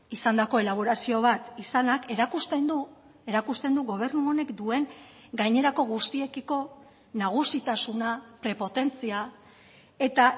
izandako elaborazio bat izanak erakusten du erakusten du gobernu honek duen gainerako guztiekiko nagusitasuna prepotentzia eta